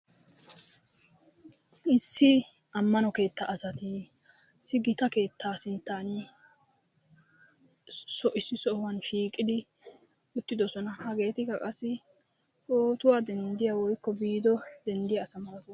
Issi ammano keetta asata, issi gita keetta sinttan issi sohuwan shiiqidi uttidoosona. Hageetikka qassi pootuwa denddiya wotkko viduwaa denddiya asa malatoosona.